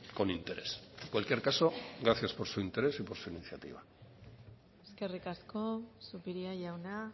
con interés en cualquier caso gracias por su interés y por su iniciativa eskerrik asko zupiria jauna